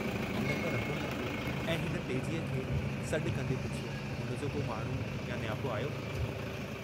हिनखे अञां बि कंहिंजो इन्तज़ारु हो।